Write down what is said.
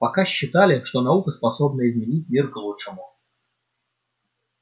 пока считали что наука способна изменить мир к лучшему